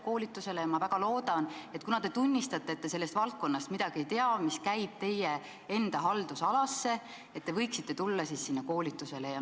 Kuna te tunnistate, et te ei tea midagi sellest valdkonnast, mis kuulub teie enda haldusalasse, siis ma väga loodan, et te võiksite sellele koolitusele tulla.